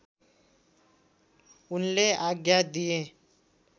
उनले आज्ञा दिए